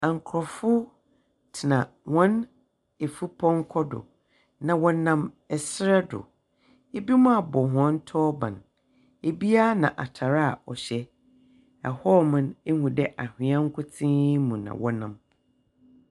Akrɔnfo tena wɔn afupɔnkɔ do. Na wɔnam ɛsrɛ do. Ebimo abɔ wɔn tɔɔban. Ebiaa na atare a wɔhyɛ. Ɛhɔɔ mo no, ehu dɛɛ anhwea nkotee mu na wɔnam.